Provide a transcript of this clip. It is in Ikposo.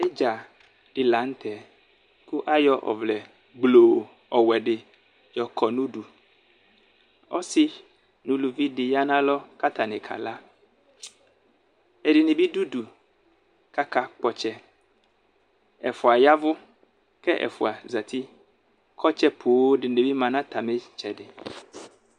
Idza di lanʋ tɛ kʋ ayɔ ɔvlɛ gbloo ɔwɛdi yɔkɔ nʋ ʋdʋ ɔsi nʋ ʋlʋvidi yanʋ alɔ kʋ atani kala ɛdini bi dʋ ʋdʋ kʋ akakpɔ ɔtsɛ ɛfʋa ya ɛvʋ kʋ ɛfʋa zati kʋ ɔtsɔ poo dinibi manʋ atami itsɛdi